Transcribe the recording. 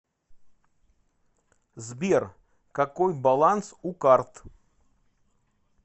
сбер какой баланс у карт